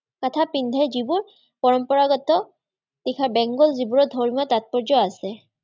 তথা পিন্ধে যিবোৰ পৰম্পৰাগত যিবোৰত ধৰ্মীয় তাত্পৰ্য্য় আছে।